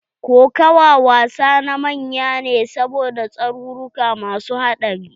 Kokawa wasa na manya ne saboda tsaruruka masu haɗari.